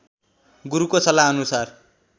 गुरुको सल्लाहअनुसार